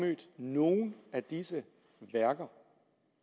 nogen af disse værker